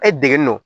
E degelen do